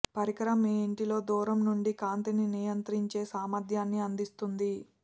పరికరం మీ ఇంటిలో దూరం నుండి కాంతిని నియంత్రించే సామర్థ్యాన్ని అందిస్తుంది